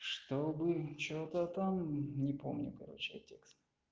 чтобы что-то там не помню короче я текст